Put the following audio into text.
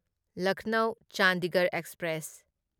Lucknow Chandigarh express